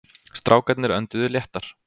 Strákarnir önduðu léttar.